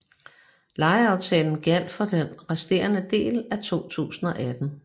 Lejeaftalen gjaldt for den resterende del af 2018